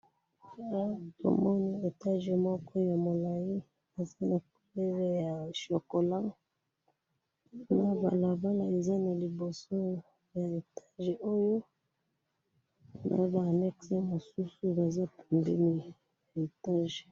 Na moni ndako ya etage ya molai, eza na couleur ya chocolat. .